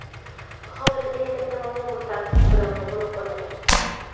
Hozir eng katta muammo bu tarkib bilan bog‘liq bo‘ladi.